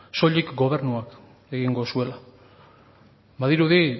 soilik gobernuak egingo zuela badirudi